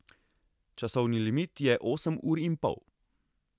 Časovni limit je osem ur in pol.